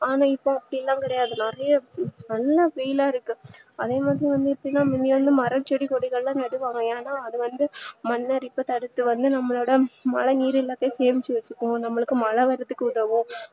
ஆனா இப்போ அப்டியெல்லா கிடையாது நிறையா நல்ல வெயிலா இருக்கு அதேமாதிரி வந்து முதள்ளலா மரம் செடி கொடிஎல்லாம் நடுவாங்க ஏன்னா அது வந்து மண்ணரிப்பு தடுத்து வந்து நம்மளோட மழை நீரெல்லாத்தையும் சேமிச்சி வச்சிக்கும் மழை வரதுக்கு உதவும்